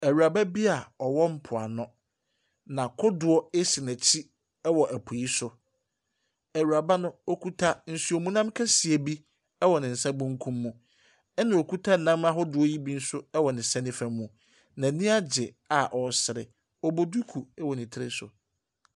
Ɛwuraba bi a ɛwɔ mpo ano. Na kodoɔ esi nɛkyi wo ɛwɔ ɛpo yi so. Ɛwuraba no ɔkuta nsuomnam kɛseɛ bi ɛwɔ nensa benkum mu. Ɛna ɔkuta nam ahodoɔ yi bi nso ɛwɔ nensa nifa mu. N'aniagye a ɔresre. Ɔbɔ duku ɛwɔ ne tiri so.